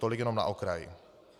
Tolik jenom na okraj.